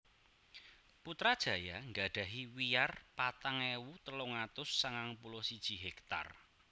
Putrajaya nggadhahi wiyar patang ewu telung atus sangang puluh siji hektar